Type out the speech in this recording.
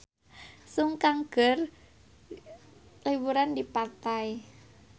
Sun Kang keur liburan di pantai